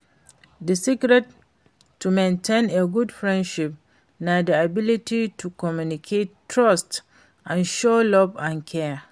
Di secret to maintain a good frienship na di ability to communicate, trust and show love and care.